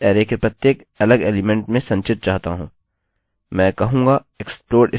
मैं 1 2 3 4 5 अरै के प्रत्येक अलग एलिमेंट में संचित चाहता हूँ